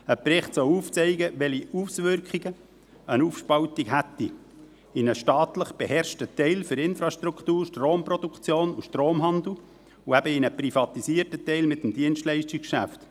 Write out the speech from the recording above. Ein Bericht soll aufzeigen, welche Auswirkungen eine Aufspaltung hätte in einen staatlich beherrschten Teil für Infrastruktur, Stromproduktion und Stromhandel und in einen privatisierten Teil mit dem Dienstleistungsgeschäft.